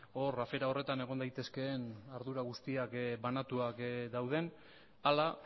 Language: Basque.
hor afera horretan egon daitezkeen ardura guztiak banatuak dauden ala